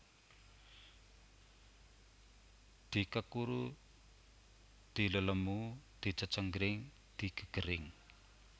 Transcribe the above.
Dikekuru dilelemu dicecenggring digegering